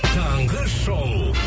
таңғы шоу